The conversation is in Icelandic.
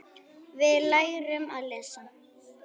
Við lærum að lesa.